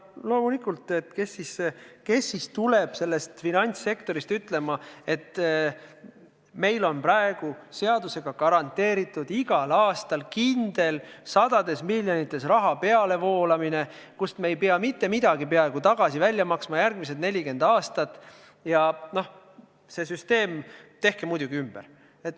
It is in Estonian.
Loomulikult, kes siis tuleb finantssektorist ütlema, et meil on praegu seadusega garanteeritud igal aastal kindel sadade miljonite pealevoolamine, kust me ei pea peaaegu mitte midagi välja maksma järgmised 40 aastat, ja tehke see süsteem muidugi ümber.